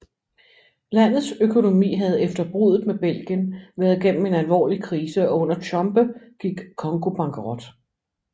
Landets økonomi havde efter bruddet med Belgien været gennem en alvorlig krise og under Tshombe gik Congo bankerot